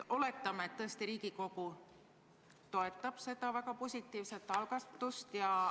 Oletame, et Riigikogu toetab seda väga positiivset algatust.